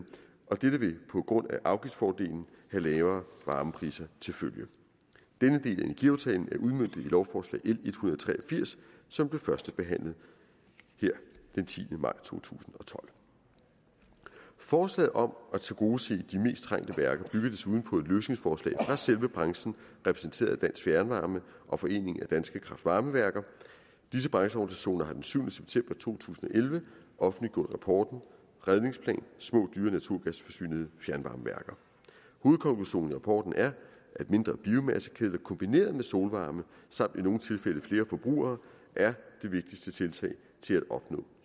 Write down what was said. og dette vil på grund af afgiftsfordelen have lavere varmepriser til følge denne del af energiaftalen er udmøntet i lovforslag og tre og firs som blev førstebehandlet den tiende maj to tusind og tolv forslaget om at tilgodese de mest trængte værker bygger desuden på et løsningsforslag fra selve branchen repræsenteret af dansk fjernvarme og foreningen danske kraftvarmeværker disse brancheorganisationer har den syvende september to tusind og elleve offentliggjort rapporten redningsplan små dyre naturgasfyrede fjernvarmeværker hovedkonklusionen i rapporten er at mindre biomassekedler kombineret med solvarme samt i nogle tilfælde flere forbrugere er det vigtigste tiltag til at opnå